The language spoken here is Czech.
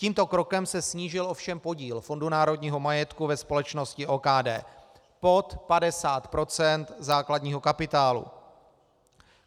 Tímto krokem se snížil ovšem podíl FNM ve společnosti OKD pod 50 % základního kapitálu.